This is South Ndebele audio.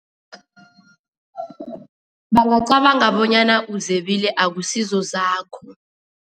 Bangacabanga bonyana uzebile, akusizo zakho.